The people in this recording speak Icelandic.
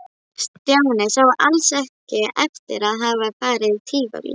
Stjáni sá alls ekki eftir að hafa farið í Tívolí.